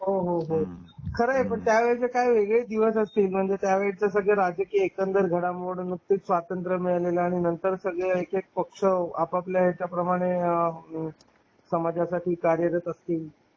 हो हो हो खरंय त्या वेळेचे म्हणजे त्यावेळेचं राजकीय एकंदर घडामोडींमध्ये स्वातंत्र्य मिळाल्या नंतर सगळं सगळे एक एक पक्ष आपापल्या ह्याच्या प्रमाण समाजासाठी कार्यरत असतील.